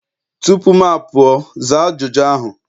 tupu m apụọ, zaa ajụjụ ahụ!